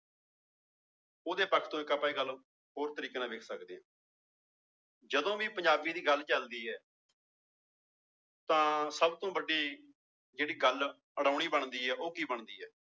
ਉਹਦੇ ਪੱਖ ਤੋਂ ਹੋਰ ਤਰੀਕੇ ਨਾਲ ਵੇਖ ਸਕਦੇ ਹਾਂ ਜਦੋਂ ਵੀ ਪੰਜਾਬੀ ਦੀ ਗੱਲ ਚੱਲਦੀ ਹੈ ਤਾਂ ਸਭ ਤੋਂ ਵੱਡੀ ਜਿਹੜੀ ਗੱਲ ਬਣਦੀ ਹੈ ਉਹ ਕੀ ਬਣਦੀ ਹੈ।